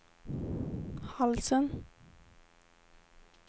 halsen